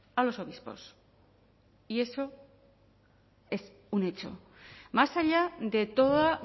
a los obispos y eso es un hecho más allá de toda